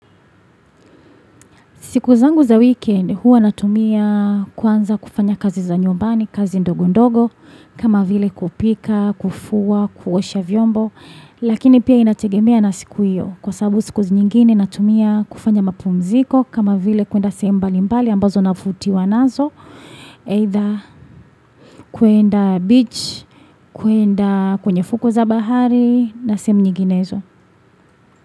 Siku zangu za weekend huwa natumia kwanza kufanya kazi za nyumbani, kazi ndogo ndogo, kama vile kupika, kufua, kuosha vyombo, lakini pia inategemea na siku hiyo. Kwa sababu siku zinyingine natumia kufanya mapumziko, kama vile kuenda sehemu mbalimbali ambazo nafutiwa nazo, either kuenda beach, kuenda kwenye fuko za bahari, na sehemu nyinginezo.